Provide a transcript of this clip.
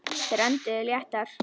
Þeir önduðu léttar.